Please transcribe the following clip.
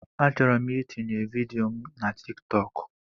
Achọrọ m itinye vidịo mụ na Tịk Tọkụ